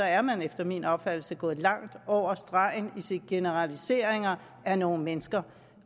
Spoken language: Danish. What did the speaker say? er man efter min opfattelse gået langt over stregen i sine generaliseringer af nogle mennesker